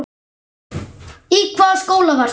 Í hvaða skóla varstu?